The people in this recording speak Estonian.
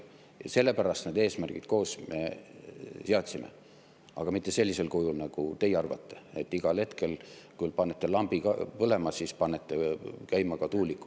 Ja sellepärast me need eesmärgid koos seadsime, aga mitte sellisel kujul, nagu teie arvate, et igal hetkel, kui panete lambi põlema, siis panete käima ka tuuliku.